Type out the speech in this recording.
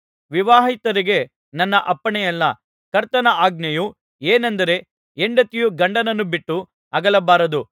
ವಿವಾಹಿತರಿಗೆ ನನ್ನ ಅಪ್ಪಣೆ ಅಲ್ಲ ಕರ್ತನ ಆಜ್ಞೆಯು ಏನೆಂದರೆ ಹೆಂಡತಿಯು ಗಂಡನನ್ನು ಬಿಟ್ಟು ಅಗಲಬಾರದು